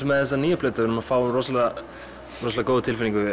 með þessa nýju plötu við erum að fá rosalega rosalega góða tilfinningu